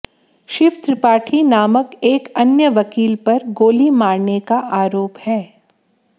शिव त्रिपाठी नामक एक अन्य वकील पर गोली मारने का आरोप है